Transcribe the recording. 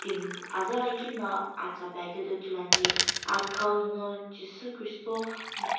tim aza lakhino asta pae kaetoi ithulu ane athikhow no jesu christa no.